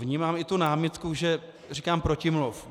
Vnímám i tu námitku, že říkám protimluv.